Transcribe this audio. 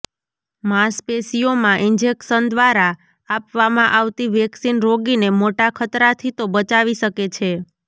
માંશપેશિયોમાં injection દ્વારા આપવામાં આવતી વેક્સિન રોગીને મોટા ખતરાથી તો બચાવી શકે છે